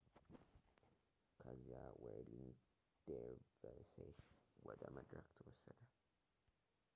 ከዚያ ዌርሊንግ ዴርቭሴሽ ወደ መድረክ ተወሰደ